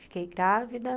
Fiquei grávida.